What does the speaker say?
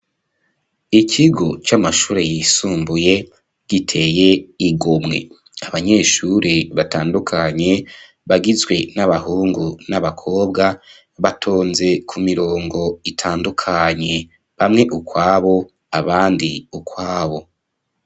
Ikigo, c'amashure yisumbuye, giteye igomwe; abanyeshure batandukanye, bagizwe, n'abahungu n'abakobwa, batonze ku mirongo, itandukanye; bamwe ukwabo, abandi ukwabo.